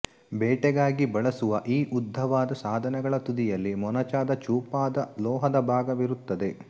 ಬೇಟೆಗಾಗಿ ಬಳಸುವ ಈ ಉದ್ದವಾದ ಸಾಧನಗಳ ತುದಿಯಲ್ಲಿ ಮೊನಚಾದ ಚೂಪಾದ ಲೋಹದ ಭಾಗವಿರುತ್ತದೆ